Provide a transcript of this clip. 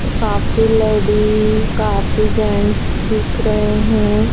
काफी लेडी काफी जेंट्स दिख रहे हैं।